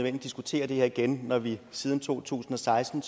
at diskutere det her igen når vi siden to tusind og seksten